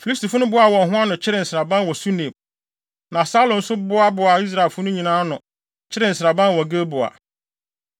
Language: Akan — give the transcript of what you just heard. Filistifo no boaa wɔn ho ano, kyeree nsraban wɔ Sunem, na Saulo nso boaboaa Israelfo no nyinaa ano, kyeree nsraban wɔ Gilboa.